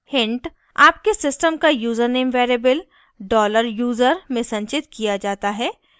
hint: आपके system का username variable $user में संचित किया जाता है